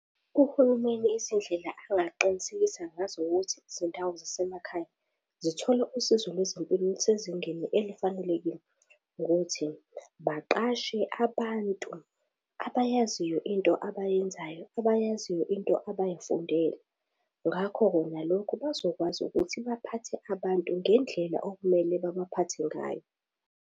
Uhulumeni izindlela angaqinisekisa ngazo ukuthi izindawo zasemakhaya zithola isizo lwezempilo olusezingeni elifanelekile, ukuthi baqashe abantu abayaziyo into abayenzayo, abayaziyo into abayifundele ngakho-ke ngalokhu bazokwazi ukuthi baphathe abantu ngendlela okumele babaphathe ngayo.